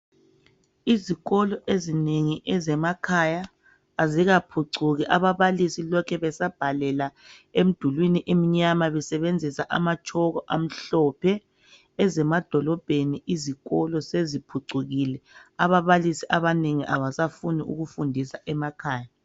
Izikolo ezinengi ezemakhaya azikaphucuki ababalisi lokhe besabhalela emdulwini emnyama besebenzisa amatshoko amhlophe. Ezemadolobheni izikolo seziphucukile ababalisi abanengi abasafuni ukufundisa emakhaya.